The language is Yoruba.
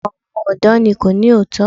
Ọ̀pọ̀ àwọn ọ̀dọ́ ní kò ní òótọ́.